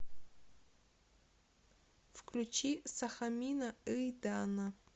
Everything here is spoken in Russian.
включи сахамина ыйдана